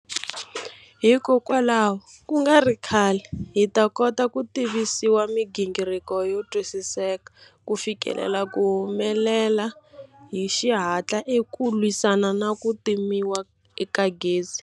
Hikwalaho, ku nga ri khale, hi ta kota ku tivisiwa migingiriko yo twisiseka ku fikelela ku humelela hi xihatla eka ku lwisana na ku timiwa ka gezi.